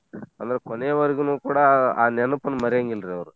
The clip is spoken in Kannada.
ಅಂದ್ರ ಕೋನೇ ವರೆಗೂನೂ ಕೂಡಾ ಆ ನೆನ್ಪನ್ನ ಮರೀಯಾಂಗಿಲ್ರೀ.